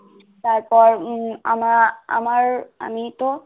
তারপর উম আনা আমার আনীত